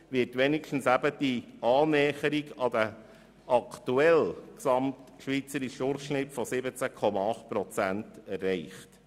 Damit nähern wir uns wenigstens dem aktuellen gesamtschweizerischen Durchschnitt von 17,8 Prozent.